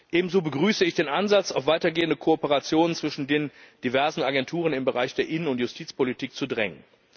Ebenso begrüße ich den Ansatz, auf weitergehende Kooperationen zwischen den diversen Agenturen im Bereich der Innen und Justizpolitik zu drängen.